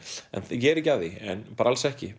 ég er ekki að því bara alls ekki